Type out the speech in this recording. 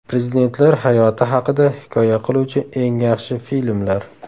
Prezidentlar hayoti haqida hikoya qiluvchi eng yaxshi filmlar.